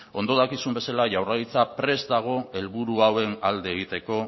ondo dakizuen bezala jaurlaritza prest dago helburu hauen alde egiteko